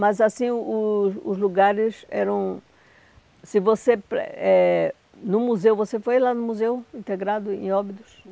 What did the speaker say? Mas assim, o o os lugares eram... Se você eh, no museu, você foi lá no Museu Integrado em Óbidos?